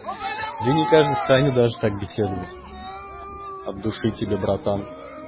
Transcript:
да не каждый станет даже так беседовать от души тебе братан